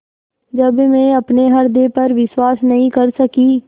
जब मैं अपने हृदय पर विश्वास नहीं कर सकी